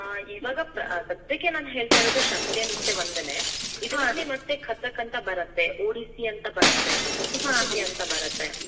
ಹಾ, ಇವಾಗಾ ಸದ್ಯಕ್ಕೆ ನಾನ್ ಹೇಳ್ತಾ ಇರೋದು ಶಾಸ್ತ್ರೀಯ ನೃತ್ಯ ಒಂದೇನೆ. ಮತ್ತೆ ಕಥಕ್ ಅಂತಾ ಬರತ್ತೆ, ಒಡಿಸಿ ಅಂತ ಬರತ್ತೆ, ಅಂತ ಬರತ್ತೆ.